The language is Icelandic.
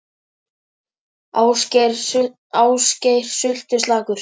Ásgeir: Sultuslakur?